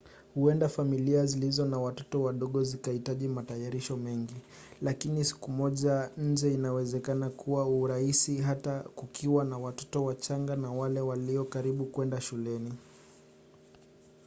huenda familia zilizo na watoto wadogo zikahitaji matayarisho mengi lakini siku moja nje inawezekana kwa urahisi hata kukiwa na watoto wachanga na wale walio karibu kwenda shuleni